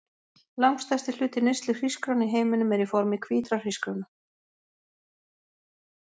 Langstærsti hluti neyslu hrísgrjóna í heiminum er í formi hvítra hrísgrjóna.